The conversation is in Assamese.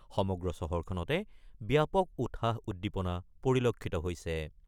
সমগ্ৰ চহৰখনতে ব্যাপক উৎসাহ উদ্দীপনা পৰিলক্ষিত হৈছে।